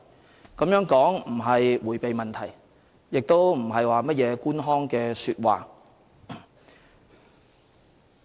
這種說法並不是迴避問題，亦不是甚麼官腔說話。